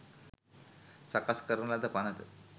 සකස් කරන ලද පණත